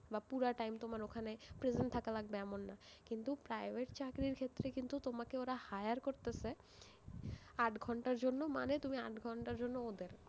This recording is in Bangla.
বা পুরা time তোমার ওখানে present থাকা লাগবে এমন না, কিন্তু private চাকরির ক্ষেত্রে কিন্তু তোমাকে ওরা hire করতেসে আট ঘন্টার জন্য, মানে তুমি আট ঘন্টার জন্য ওদের।